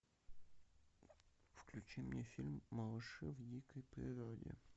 включи мне фильм малыши в дикой природе